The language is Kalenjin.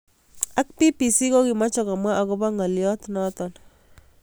Ak BBC kokimoche komwa akopo ngaliot noto